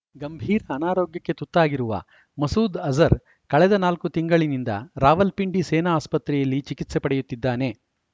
ಗಂಭೀರ ಅನಾರೋಗ್ಯಕ್ಕೆ ತುತ್ತಾಗಿರುವ ಮಸೂದ್‌ ಅಜರ್‌ ಕಳೆದ ನಾಲ್ಕು ತಿಂಗಳಿನಿಂದ ರಾವಲ್ಪಿಂಡಿ ಸೇನಾ ಆಸ್ಪತ್ರೆಯಲ್ಲಿ ಚಿಕಿತ್ಸೆ ಪಡೆಯುತ್ತಿದ್ದಾನೆ